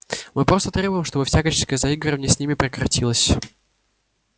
мы просто требуем чтобы всяческое заигрывание с ними прекратилось